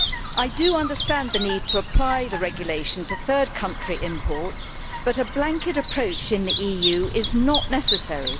I do understand the need to apply the regulation to third country imports, but a blanket approach in the EU is not necessary.